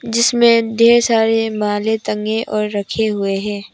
जिसमें ढ़ेर सारे माले टगें और रखे हुए हैं।